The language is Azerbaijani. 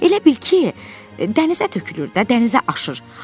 Elə bil ki, dənizə tökülürdü, dənizə aşır.